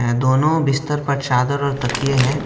दोनों बिस्तर पर चादर और तकिए हैं।